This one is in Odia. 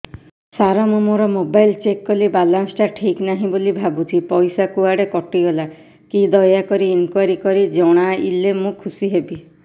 ସାର ମୁଁ ମୋର ମୋବାଇଲ ଚେକ କଲି ବାଲାନ୍ସ ଟା ଠିକ ନାହିଁ ବୋଲି ଭାବୁଛି ପଇସା କୁଆଡେ କଟି ଗଲା କି ଦୟାକରି ଇନକ୍ୱାରି କରି ଜଣାଇଲେ ମୁଁ ଖୁସି ହେବି